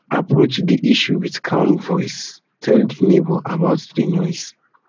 approach di issue with calm voice tell di tell di neighbour about di noise